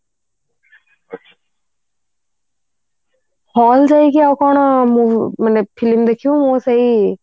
hall ଯାଇକି ଆଉ କଣ ମୁଁ film ଦେଖିବୁ ମୁଁ ସେଇ